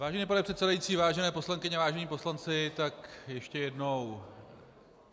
Vážený pane předsedající, vážené poslankyně, vážení poslanci, tak ještě jednou.